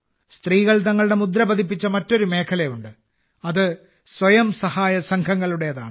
സ്ത്രീകൾ തങ്ങളുടെ മുദ്ര പതിപ്പിച്ച മറ്റൊരു മേഖലയുണ്ട് അത് സ്വയം സഹായസംഘങ്ങളാണ്